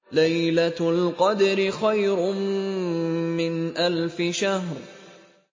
لَيْلَةُ الْقَدْرِ خَيْرٌ مِّنْ أَلْفِ شَهْرٍ